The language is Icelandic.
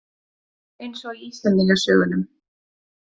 Eins og í Íslendingasögunum.